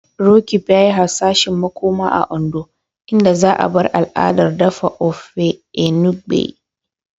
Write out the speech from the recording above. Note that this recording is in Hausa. Roqeeb yayi hasashen makoma a Ondo, inda za'a bar al'adar dafa Ofe Enugbe.